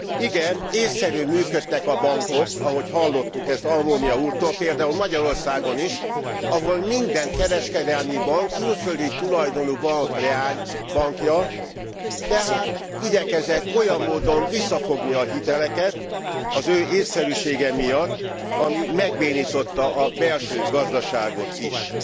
Igen, ésszerűen működtek a bankok, ahogy hallottuk ezt Almunia úrtól, például Magyarországon is, ahol minden kereskedelmi bank külföldi tulajdonú bank leánybankja, tehát igyekezett olyan módon visszafogni a hiteleket, az ő ésszerűsége miatt, ami megbénította a belső gazdaságot is.